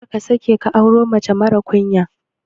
Karka sake ka auro mace marar ƙunya.